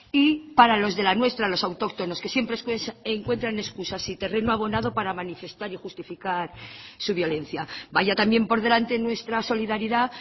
y para los de la nuestra los autóctonos que siempre encuentran excusas y terreno abonado para manifestar y justificar su violencia vaya también por delante nuestra solidaridad